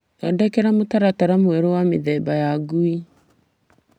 Thondeka mũtaratara mwerũ wa mĩthemba ya ngui.